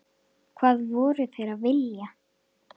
Hvað voru þeir að vilja?